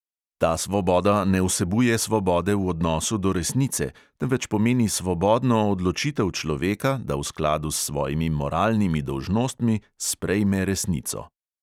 Ta svoboda ne vsebuje svobode v odnosu do resnice, temveč pomeni svobodno odločitev človeka, da v skladu s svojimi moralnimi dolžnostmi sprejme resnico.